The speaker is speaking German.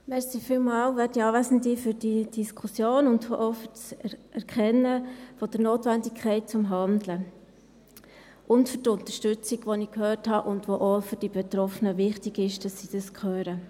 Vielen Dank für die Diskussion und auch für das Erkennen der Notwendigkeit zum Handeln und für die Unterstützung, die ich gehört habe und von der es auch wichtig ist, dass es die Betroffenen hören.